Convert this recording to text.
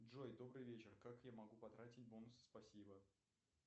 джой добрый вечер как я могу потратить бонусы спасибо